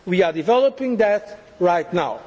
method. We are developing